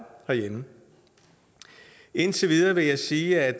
herhjemme indtil videre vil jeg sige